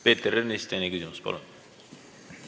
Peeter Ernits, teine küsimus, palun!